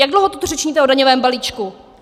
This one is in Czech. Jak dlouho tu řečníte o daňovém balíčku?